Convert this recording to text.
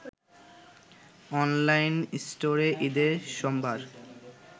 online স্টোরে ঈদের সম্ভার